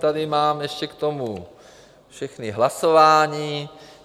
Tady mám ještě k tomu všechna hlasování.